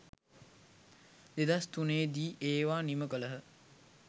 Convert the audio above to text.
2003 දී ඒවා නිම කළහ.